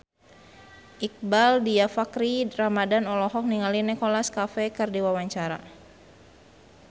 Iqbaal Dhiafakhri Ramadhan olohok ningali Nicholas Cafe keur diwawancara